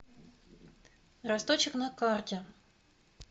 росточек на карте